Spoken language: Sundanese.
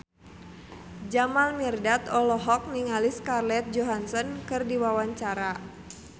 Jamal Mirdad olohok ningali Scarlett Johansson keur diwawancara